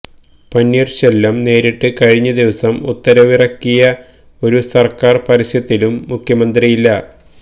പന്നീര്ശെല്വം നേരിട്ട് കഴിഞ്ഞ ദിവസം ഉത്തരവിറക്കിയിറക്കിയ ഒരു സര്ക്കാര് പരസ്യത്തിലും മുഖ്യമന്ത്രിയില്ല